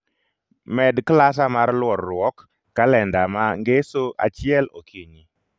Med klasa mar luorruok kalenda ma ngeso achiel okinyi